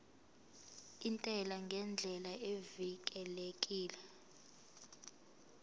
intela ngendlela evikelekile